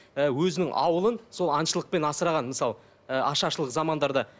ы өзінің ауылын сол аңшылықпен асыраған мысалы ы ашаршылық замандарда